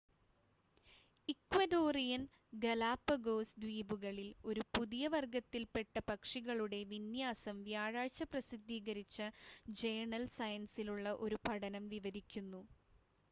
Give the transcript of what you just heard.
Ecuadorian Galapagos ദ്വീപുകളിൽ ഒരു പുതിയ വർഗ്ഗത്തിൽപ്പെട്ട പക്ഷികളുടെ വിന്യാസം വ്യാഴാഴ്ച്ച പ്രസിദ്ധീകരിച്ച ജേണൽ സയൻസിലുള്ള ഒരു പഠനം വിവരിക്കുന്നു